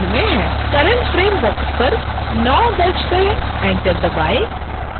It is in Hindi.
current frame बॉक्स पर 9 दर्ज करें enter दबाएं